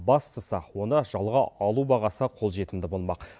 бастысы оны жалға алу бағасы қолжетімді болмақ